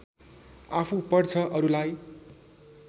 आफू पढ्छ अरूलाई